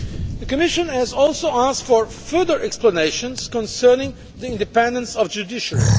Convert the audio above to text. The Commission has also asked for further explanations concerning the independence of the judiciary.